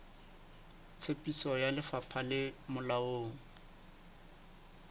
tsebiso ya lefapha le molaong